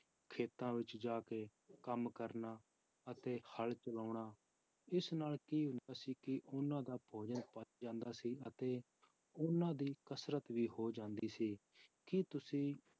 ਖੇਤਾਂ ਵਿੱਚ ਜਾ ਕੇ ਕੰਮ ਕਰਨਾ ਅਤੇ ਹਲ ਚਲਾਉਣਾ, ਇਸ ਨਾਲ ਕੀ ਹੁੰਦਾ ਸੀ ਕਿ ਉਹਨਾਂ ਦਾ ਭੋਜਨ ਪਚ ਜਾਂਦਾ ਸੀ ਅਤੇ ਉਹਨਾਂ ਦੀ ਕਸ਼ਰਤ ਵੀ ਹੋ ਜਾਂਦੀ ਸੀ, ਕੀ ਤੁਸੀਂ